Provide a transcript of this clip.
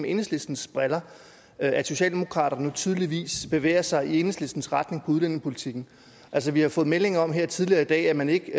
enhedslistens briller at socialdemokraterne nu tydeligvis bevæger sig i enhedslistens retning på udlændingepolitikken vi har fået melding om her tidligere i dag at man ikke